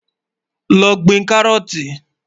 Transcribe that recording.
Lọ́ gbìn kárọ́ọ̀tì.